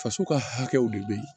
Faso ka hakɛw de bɛ yen